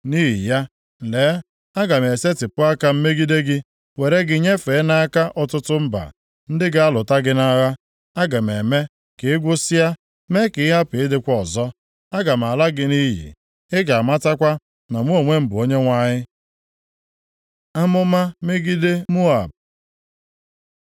nʼihi ya, lee, aga m esetipụ aka m megide gị, were gị nyefee nʼaka ọtụtụ mba, ndị ga-alụta gị nʼagha. Aga m eme ka ị gwụsịa, mee ka ị hapụ ịdịkwa ọzọ. Aga m ala gị nʼiyi. Ị ga-amatakwa na mụ onwe m bụ Onyenwe anyị.’ ” Amụma megide Moab